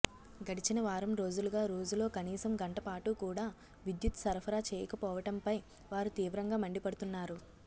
గడిచిన వారం రోజులుగా రోజులో కనీసం గంట పాటు కూడా విద్యుత్ సరఫరా చేయకపోవటంపై వారు తీవ్రంగా మండిపడుతున్నారు